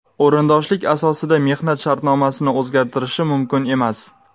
o‘rindoshlik asosida mehnat shartnomasini o‘zgartirishi mumkin emas.